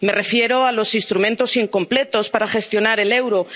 Me refiero a los instrumentos incompletos para gestionar el euro.